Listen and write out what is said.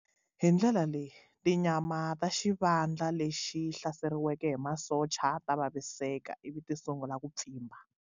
Hi ndlela leyi, tinyama ta xivandla lexi hlaseriwaka hi masocha ta vaviseka ivi ti sungula ku pfimba.